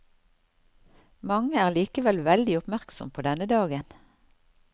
Mange er likevel veldig oppmerksom på denne dagen.